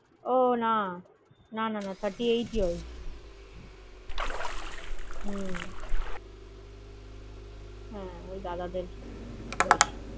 ওহ না, না না, thirty eight years । হম ওই দাদাদের বয়সী।